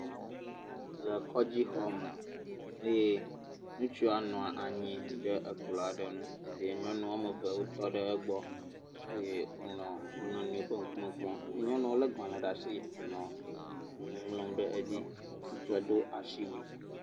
Le kɔdzi xɔme. Ŋutsua bɔbɔ nɔ anyi ɖe ekplɔ aɖe nu eye nyɔnua eve aɖe tɔ ɖe egbɔ eye wò nɔ wo nɔnɔewo ƒe ŋkume kpɔm eye nyɔnua le gbalẽ ɖe asi hele nu ŋlɔm ɖe edzi. Ŋutsua Do asiwuie.